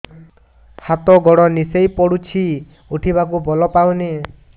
ହାତ ଗୋଡ ନିସେଇ ପଡୁଛି ଉଠିବାକୁ ବଳ ପାଉନି